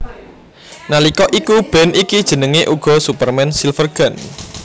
Nalika iku band iki jenengé uga Superman Silvergun